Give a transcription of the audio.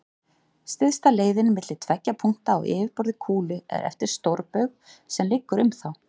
Stysta leiðin milli tveggja punkta á yfirborði kúlu er eftir stórbaug sem liggur um þá.